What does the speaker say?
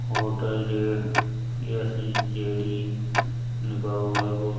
hotel जो है ACJD लिखा हुआ है बो --